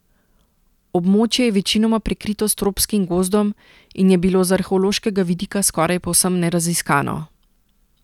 Območje je večinoma prekrito s tropskim gozdom in je bilo z arheološkega vidika skoraj povsem neraziskano.